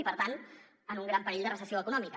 i per tant en un gran perill de recessió econòmica